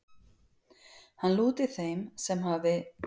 Hann lúti þeim sem hafi